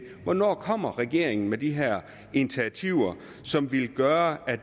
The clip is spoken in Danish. hvornår kommer regeringen med de her initiativer som ville gøre at